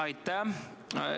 Aitäh!